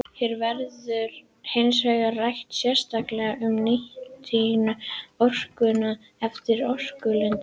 Hér verður hins vegar rætt sérstaklega um nýtingu orkunnar eftir orkulindum.